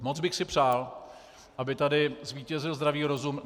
Moc bych si přál, aby tady zvítězil zdravý rozum.